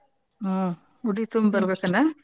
ಹ್ಮ್ ಉಡಿ ತುಂಬಿ ಬರ್ಬೇಕನ?